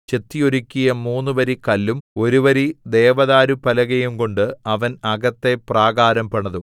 ചെത്തി ഒരുക്കിയ മൂന്ന് വരി കല്ലും ഒരു വരി ദേവദാരുപ്പലകയും കൊണ്ട് അവൻ അകത്തെ പ്രാകാരം പണിതു